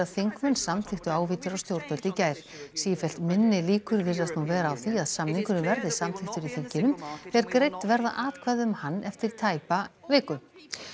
þingmenn samþykktu ávítur á stjórnvöld í gær sífellt minni líkur virðast nú vera á því að samningurinn verði samþykktur í þinginu þegar greidd verða atkvæði um hann eftir tæpa viku